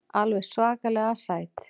Alveg svakalega sæt.